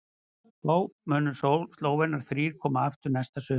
Þá munu Slóvenarnir þrír koma aftur næsta sumar.